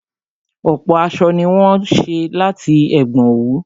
Ọ̀pọ̀ aṣọ ni wọ́n ṣé láti ẹ̀gbọn òwú